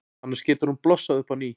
Annars getur hún blossað upp á ný.